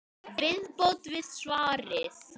Viðbót við svarið